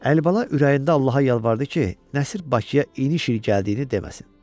Əlibala ürəyində Allaha yalvardı ki, Nəsir Bakıya iniş il gəldiyini deməsin.